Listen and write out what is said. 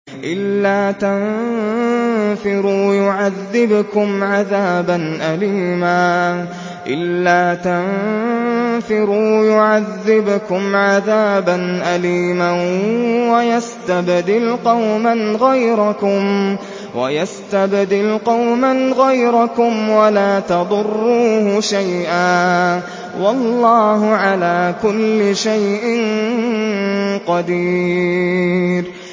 إِلَّا تَنفِرُوا يُعَذِّبْكُمْ عَذَابًا أَلِيمًا وَيَسْتَبْدِلْ قَوْمًا غَيْرَكُمْ وَلَا تَضُرُّوهُ شَيْئًا ۗ وَاللَّهُ عَلَىٰ كُلِّ شَيْءٍ قَدِيرٌ